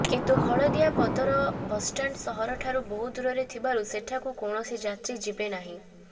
କିନ୍ତୁ ହଳଦିଆପଦର ବସଷ୍ଟାଣ୍ଡ ସହରଠାରୁ ବହୁଦୂରରେ ଥିବାରୁ ସେଠାକୁ କୌଣସି ଯାତ୍ରୀ ଯିବେ ନାହିଁ